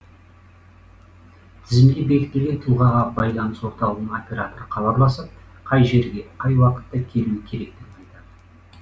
тізімде бекітілген тұлғаға байланыс орталығының операторы хабарласып қай жерге қай уақытта келуі керектігін айтады